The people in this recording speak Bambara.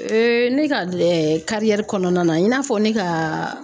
ne ka kɔnɔna na i n'a fɔ ne ka